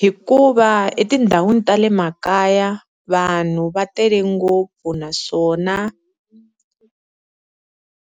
Hikuva etindhawini ta le makaya vanhu va tele ngopfu, naswona